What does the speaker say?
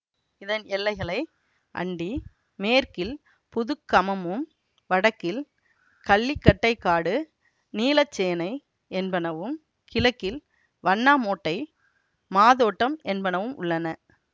இதன் எல்லைகளை அண்டி மேற்கில் புதுக்கமமும் வடக்கில் கள்ளிக்கட்டைக்காடு நீலச்சேனை என்பனவும் கிழக்கில் வண்ணாமோட்டை மாதோட்டம் என்பனவும் உள்ளன